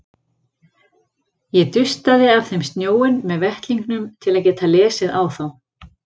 Ég dustaði af þeim snjóinn með vettlingnum til að geta lesið á þá.